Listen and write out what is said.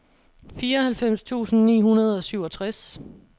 fireoghalvfems tusind ni hundrede og syvogtres